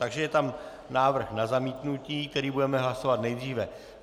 Takže je tam návrh na zamítnutí, který budeme hlasovat nejdříve.